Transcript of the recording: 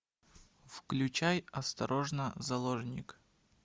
включай осторожно заложник